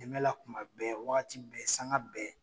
Dɛmɛ la kuma bɛɛ wagati bɛɛ sanga bɛɛ.